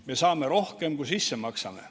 Me saame rohkem, kui sisse maksame.